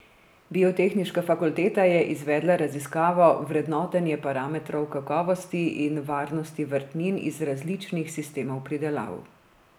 Biotehnična fakulteta je izvedla raziskavo vrednotenje parametrov kakovosti in varnosti vrtnin iz različnih sistemov pridelav.